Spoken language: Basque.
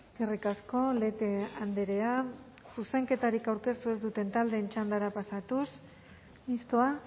eskerrik asko lete andrea zuzenketarik aurkeztu ez duten taldeen txandara pasatuz mistoa